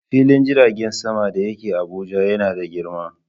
Filin jirgin sama da yake Abuja yana da girma.